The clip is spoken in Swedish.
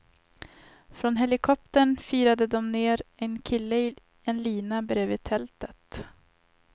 Från helikoptern firade de ned en kille i en lina bredvid tältet.